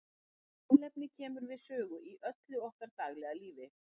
Kolefni kemur við sögu í öllu okkar daglega lífi.